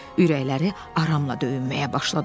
Ürəkləri aramla döyünməyə başladı.